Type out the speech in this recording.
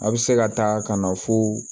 A bɛ se ka taa ka na fo